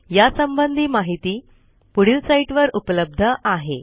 यासंबंधी माहिती पुढील साईटवर उपलब्ध आहे